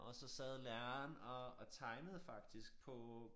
Og så sad læreren og og tegnede faktisk på